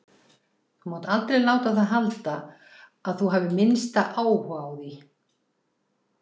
Þú mátt aldrei láta það halda að þú hafir minnsta áhuga á því.